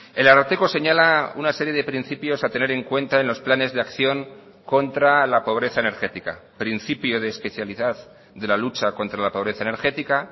el ararteko señala una serie de principios a tener en cuenta en los planes de acción contra la pobreza energética principio de especialidad de la lucha contra la pobreza energética